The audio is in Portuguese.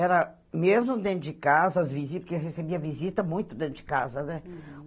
Era mesmo dentro de casa, as visita, porque eu recebia visita muito dentro de casa, né? Uhum